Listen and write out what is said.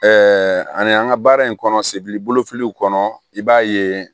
ani an ka baara in kɔnɔ sebili fililiw kɔnɔ i b'a ye